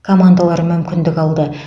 командалары мүмкіндік алды